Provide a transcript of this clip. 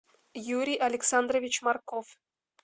юрий александрович марков